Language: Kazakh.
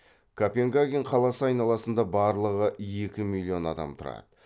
копенгаген қаласы айналасында барлығы екі миллион адам тұрады